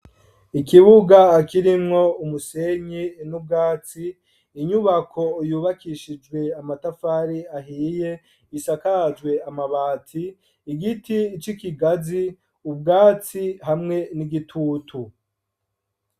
Ikibuga kirimwo umusenyi n'ubwatsi, inyubako yubakishijwe amatafari ahiye, isakajwe amabati, igiti ic'Ikigazi ubwatsi hamwe n'igitutu.